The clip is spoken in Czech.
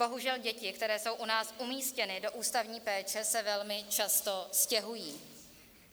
Bohužel děti, které jsou u nás umístěny do ústavní péče, se velmi často stěhují.